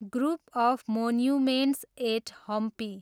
group of monuments at Hampi